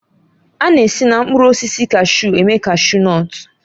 A na-esi na mkpụrụ osisi kashu eme kashu nọtu.